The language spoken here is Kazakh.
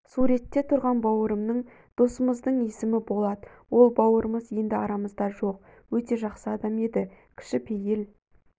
суретте тұрған бауырымның досымыздың есімі болат ол бауырымыз енді арамызда жоқ өте жақсы адам еді кішіпейіл